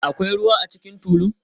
Akwai ruwa a cikin tulun?